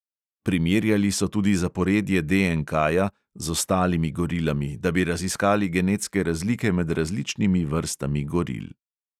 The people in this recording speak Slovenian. Primerjali so tudi zaporedje DNKja z ostalimi gorilami, da bi raziskali genetske razlike med različnimi vrstami goril.